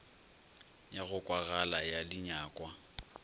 ya go kwagala ya dinyakwa